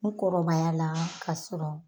N kɔrɔbaya la ka sɔrɔ